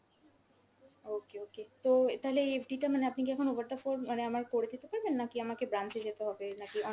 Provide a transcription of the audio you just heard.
okay okay, তো তালে FD টা মানে আপনি কী এখন over the phone মানে আমার করে দিতে পারবেন? নাকি আমাকে branch এ যেতে হবে? নাকি